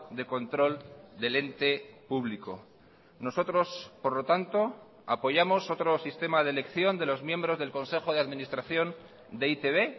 de control del ente público nosotros por lo tanto apoyamos otro sistema de elección de los miembros del consejo de administración de e i te be